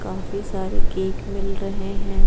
काफी सारे केक मिल रहे हैं।